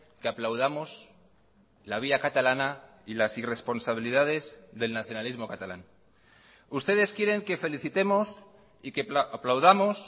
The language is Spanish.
que aplaudamos la vía catalana y las irresponsabilidades del nacionalismo catalán ustedes quieren que felicitemos y que aplaudamos